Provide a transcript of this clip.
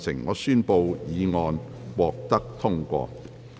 我宣布議案獲得通過。